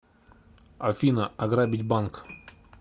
афина ограбить банк